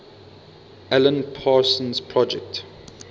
alan parsons project